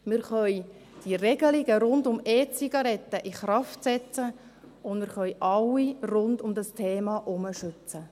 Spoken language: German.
wir können die Regelungen rund um E-Zigaretten in Kraft setzen und können rund um dieses Thema alle schützen.